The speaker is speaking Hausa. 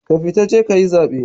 Ka fita je kayi zaɓe